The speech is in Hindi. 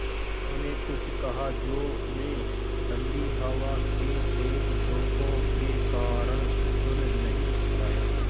उन्होंने कुछ कहा जो मैं ठण्डी हवा के तेज़ झोंके के कारण सुन नहीं पाया